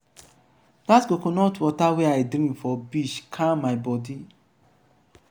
dat coconut water wey i drink for beach calm my bodi.